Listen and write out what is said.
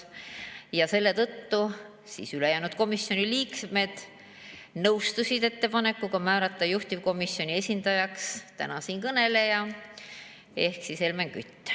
Selle tõttu ülejäänud komisjoni liikmed nõustusid ettepanekuga määrata juhtivkomisjoni esindajaks siinkõneleja ehk Helmen Kütt.